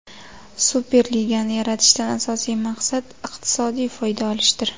Superligani yaratishdan asosiy maqsad iqtisodiy foyda olishdir.